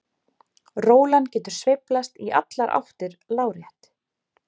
Rólan getur sveiflast í allar áttir lárétt.